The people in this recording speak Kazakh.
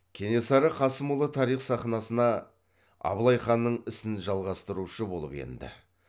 кенесары қасымұлы тарих сахнасына абылай ханның ісін жалғастырушы болып енді